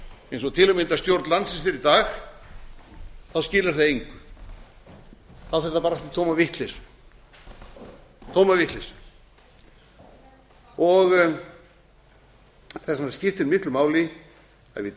eins og til að mynda stjórn landsins er í dag skilar það engu þá fer það bara út í tóma vitleysu tóma vitleysu þess vegna skiptir miklu máli að við